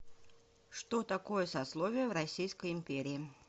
что такое сословия в российской империи